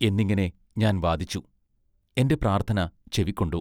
എന്നിങ്ങിനെ ഞാൻ വാദിച്ചു. എന്റെ പ്രാർത്ഥന ചെവിക്കൊണ്ടു.